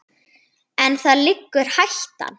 En þar liggur hættan.